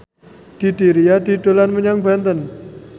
Didi Riyadi dolan menyang Banten